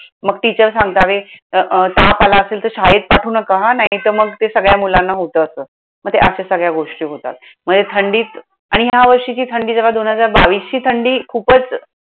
मग teacher सांगतात. कि ताप आला असेल तर शाळेत पाठवू नका हां, नाहीतर मग ते सगळ्या मुलांना होतं असं. मग त्या अशा सगळ्या गोष्टी होतात. म्हणजे थंडीत आणि या वर्षीची थंडी जरा दोन हजार बावीसची थंडी खूपच